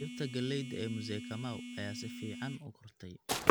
Dhirta galleyda ee Mzee Kamau ayaa si fiican u kortay.